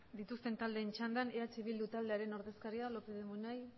dituzten taldeen txandan eh bildu taldearen ordezkaria lópez de munain